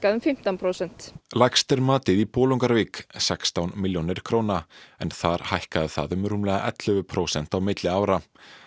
um fimmtán prósent lægst er matið í Bolungarvík sextán milljónir króna en þar hækkaði það um rúmlega ellefu prósent á milli ára